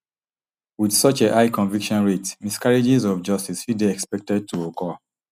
wit such a high conviction rate miscarriages of justice fit dey expected to occur